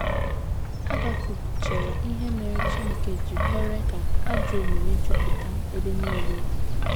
Habakuk chere ihe mere Chineke ji kwere ka ajọ omume jupụta ebe nile.